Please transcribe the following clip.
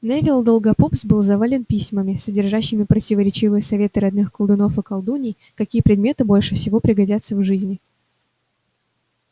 невилл долгопупс был завален письмами содержащими противоречивые советы родных колдунов и колдуний какие предметы больше всего пригодятся в жизни